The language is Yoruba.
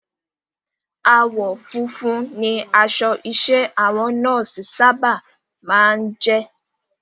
Àwọ̀ funfun ni aṣọ iṣẹ́ àwọn Nọ́ọ̀sì sábà máa ń jẹ́